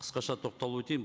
қысқаша тоқталып өтейін